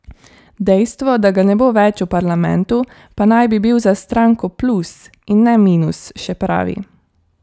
Dejstvo, da ga ne bo več v parlamentu, pa naj bi bil za stranko plus in ne minus, še pravi.